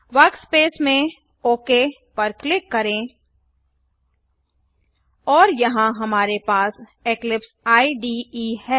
workspace में OK पर click करें और यहाँ हमारे पास इक्लिप्स इडे है